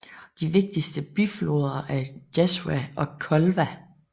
De vigtigste bifloder er Jazva og Kolva